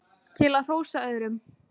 til að hrósa öðrum